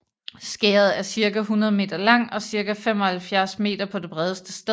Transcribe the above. Skæret er cirka 100 m lang og cirka 75 m på det bredeste sted